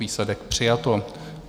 Výsledek - přijato.